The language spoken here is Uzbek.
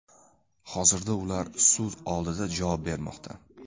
Hozirda ular sud oldida javob bermoqda.